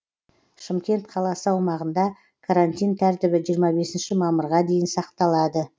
шымкент қаласы аумағында карантин тәртібі жиырма бесінші мамырға дейін сақталады